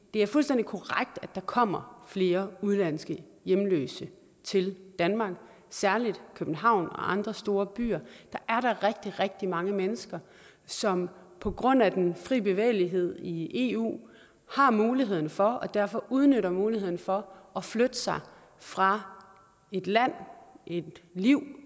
det er fuldstændig korrekt at der kommer flere udenlandske hjemløse til danmark og særlig i københavn og andre store byer er der rigtig rigtig mange mennesker som på grund af den fri bevægelighed i eu har mulighed for og derfor udnytter muligheden for at flytte sig fra et land og et liv